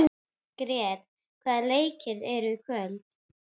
Grét, hvaða leikir eru í kvöld?